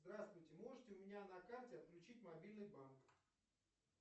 здравствуйте можете у меня на карте отключить мобильный банк